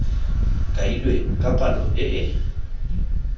kailweng ka palo e e